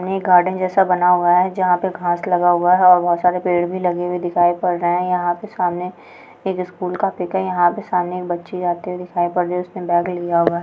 ये गार्डन जैसा बना हुआ है जहाँ पे घांस लगा हुआ है और बहुँत सारे पेड़ भी लगे हुए दिखाई पड़ रहें हैं यहाँ पे सामने एक स्कूल का पिक है यहाँ पर सामने एक बच्ची जाती हुई दिखाई पड़ रही है उसने बैग लिया हुआ है।